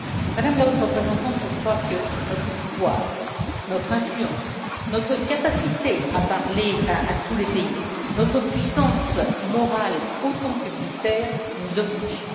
Madame la Haute représentante, je crois que notre histoire, notre influence, notre capacité à parler avec tous les pays et notre puissance morale autant que militaire nous obligent.